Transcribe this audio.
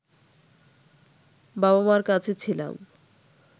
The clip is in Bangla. বাবা-মার কাছে ছিলাম